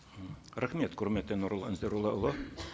рахмет құрметті нұрлан зайроллаұлы